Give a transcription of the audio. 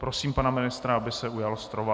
Prosím pana ministra, aby se ujal slova.